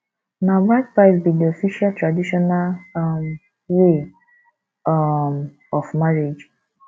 na bride price be de official traditional um way um of marriage